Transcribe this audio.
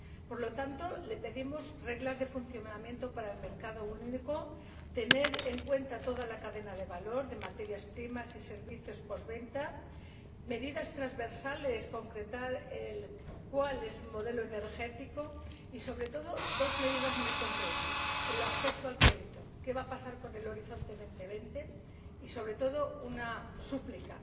Por lo tanto, le pedimos reglas de funcionamiento para el mercado único, que se tengan en cuenta toda la cadena de valor, de materias primas y servicios de postventa, medidas transversales, concretar cuál es el modelo energético y, sobre todo, medidas muy concretas en cuanto al acceso al crédito, ¿qué va a pasar con Horizonte 2020? Y, ante todo, una súplica